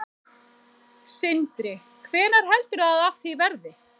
Sindri: Hvenær heldurðu að af því verði?